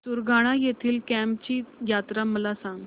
सुरगाणा येथील केम्ब ची यात्रा मला सांग